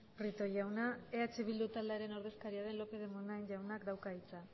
prieto jauna eh bildu taldearen ordezkaria den lópez de munain jaunak dauka hitza